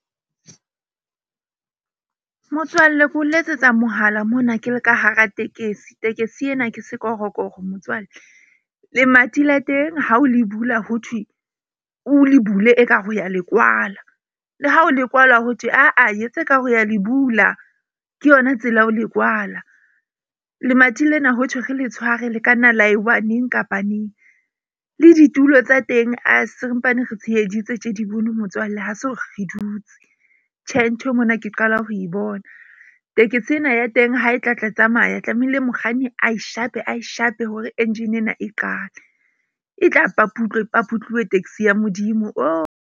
Motswalle ko letsetsa mohala mona ke le ka hara tekesi. Tekesi ena ke sekorokoro motswalle lemati la teng ha o le bula, ho thwe o le bule ekare wa le kwala, le ha o le kwalwa ho thwe aa yetsa ekare wa le bula, ke yona tsela ya ho le kwala. Lemati lena ho thwe ke le tshware le ka nna la ewa neng kapa neng le ditulo tsa teng, sempane re tsheheditse motswalle. Ha se hore re dutse. Tjhe, nthwe mona ke qala ho e bona. Tekesi ena ya teng ha e tla tsamaya tlamehile mokganni a e shape ae shape hore engine ena e qale. E tla paputlwe e paputlwuwe taxi ya Modimo .